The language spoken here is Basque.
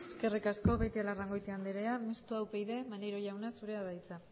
eskerrik asko beitialarrangoitia andrea mistoa upyd maneiro jauna zurea da hitza